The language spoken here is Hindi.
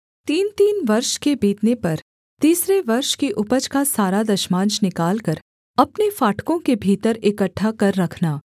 तीनतीन वर्ष के बीतने पर तीसरे वर्ष की उपज का सारा दशमांश निकालकर अपने फाटकों के भीतर इकट्ठा कर रखना